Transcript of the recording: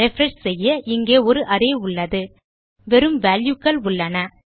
refresh செய்ய இங்கே ஒரு அரே உள்ளது வேறு வால்யூ க்கள் உள்ளன